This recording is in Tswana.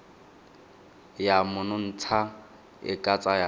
ya monontsha e ka tsaya